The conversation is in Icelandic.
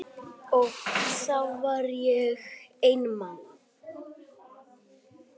Og þá var ég einmana.